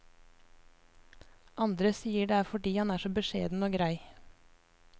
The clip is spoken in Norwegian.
Andre sier det er fordi han er så beskjeden og grei.